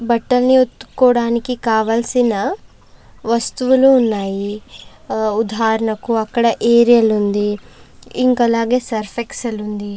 బట్టల్ని ఉతుక్కోవడానికి కావలసిన వస్తువులు ఉన్నాయి ఉదాహరణకు అక్కడ ఏరియల్ ఉంది అలాగే సర్ఫ్ ఎక్సెల్ ఉంది.